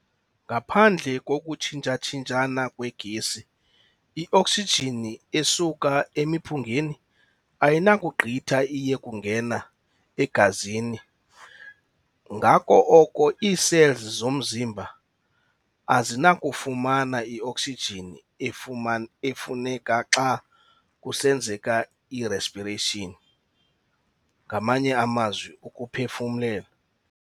Ngaphandle kokuthsintshatshintshana kwee-gesi, ioksijini esuka emiphungeni ayinakugqitha iye kungena egazini ngako oko ii-cells zomzimba azinakufumana i-oksijini efuneka xa kusenzeka i-respiration ngamanye amazwi ukuphefumlelwa.